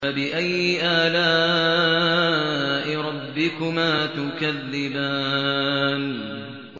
فَبِأَيِّ آلَاءِ رَبِّكُمَا تُكَذِّبَانِ